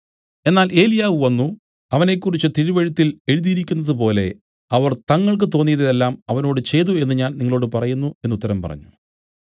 എന്നാൽ ഏലിയാവ് വന്നു അവനെക്കുറിച്ച് തിരുവെഴുത്തിൽ എഴുതിയിരിക്കുന്നതുപോലെ അവർ തങ്ങൾക്കു തോന്നിയത് എല്ലാം അവനോട് ചെയ്തു എന്നു ഞാൻ നിങ്ങളോടു പറയുന്നു എന്നു ഉത്തരം പറഞ്ഞു